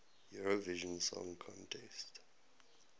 eurovision song contest